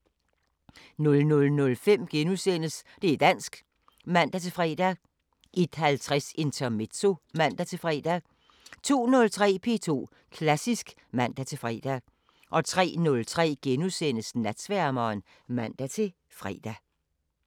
00:05: Det´ dansk *(man-fre) 01:50: Intermezzo (man-fre) 02:03: P2 Klassisk (man-fre) 03:03: Natsværmeren *(man-fre)